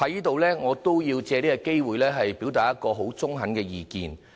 主席，我也要藉此機會表達一個十分中肯的意見。